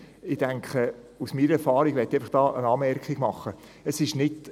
Ich möchte einfach noch eine Anmerkung aus meiner Erfahrung machen: